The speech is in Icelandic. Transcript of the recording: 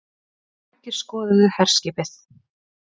Margir skoðuðu herskipið